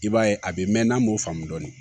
I b'a ye a bɛ mɛn n'an m'o faamu dɔɔni